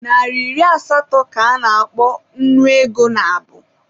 Naịra iri asatọ ka a na-akpọ Nnu ego nabụ.